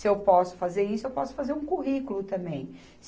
Se eu posso fazer isso, eu posso fazer um currículo também.